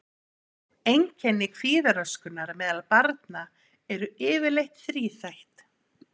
Einkenni kvíðaröskunar meðal barna eru yfirleitt þríþætt.